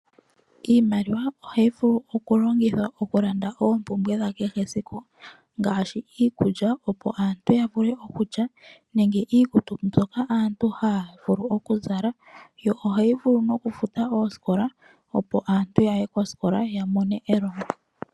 Iimaliwa ohayi vulu oku longithwa oku landa oompumbwe dha kehe siku ngaashi iikulya opo aantu ya vule oku lya nenge iikutu mbyoka aantu ya vule oku zala. Yo ohayi vulu nokufuta oosikola opo aantu ya ye koosikola ya mone elongo.